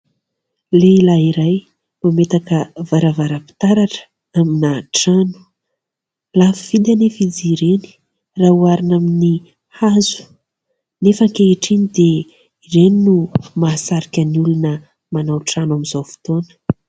Lehilahy iray mametaka varavaram-pitaratra amina trano. Lafo vidy anefa izy ireny raha oharina amin'ny hazo. Nefa ankehitriny dia ireny no mahasarika ny olona manao trano amin'izao fotoana.